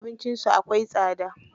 Abincin su akwai tsada.